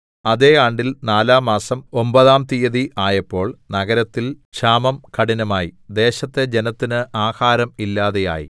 അതേ ആണ്ടില്‍ നാലാംമാസം ഒമ്പതാം തിയ്യതി ആയപ്പോൾ നഗരത്തിൽ ക്ഷാമം കഠിനമായി ദേശത്തെ ജനത്തിന് ആഹാരം ഇല്ലാതെയായി